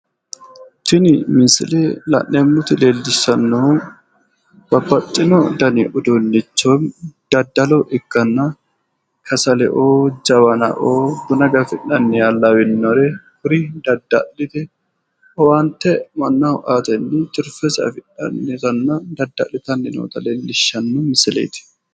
tinni misiile laneemmoti leeliishanohu babbaxino danni uduunicho daddalo ikanna kasaleo jawannao buuna gafinanniha lawinore kuria dadalite owaante mannaho aatenni tirfese afidhani nootana daddlitanni noota leellishano misileeti.